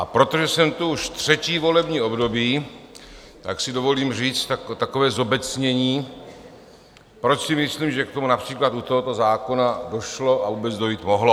A protože jsem tu už třetí volební období, tak si dovolím říct takové zobecnění, proč si myslím, že k tomu například u tohoto zákona došlo a vůbec dojít mohlo.